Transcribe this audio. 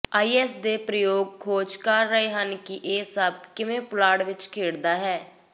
is ਦੇ ਪ੍ਰਯੋਗ ਖੋਜ ਕਰ ਰਹੇ ਹਨ ਕਿ ਇਹ ਸਭ ਕਿਵੇਂ ਪੁਲਾੜ ਵਿੱਚ ਖੇਡਦਾ ਹੈ